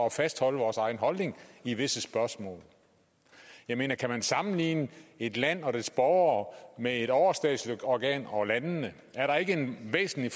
at fastholde vores egen holdning i visse spørgsmål jeg mener kan man sammenligne et land og dets borgere med et overstatsligt organ og landene er der ikke en væsentlig